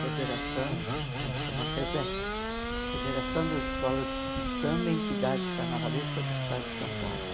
Federação, eh chama FESEC, Federação das Escolas de Samba e Entidades Carnavalescas do Estado de São Paulo.